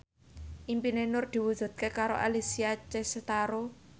impine Nur diwujudke karo Alessia Cestaro